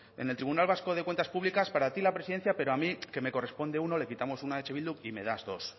en el tribunal vasco de cuentas públicas para ti la presidencia pero a mí que me corresponde uno le quitamos uno a eh bildu y me das dos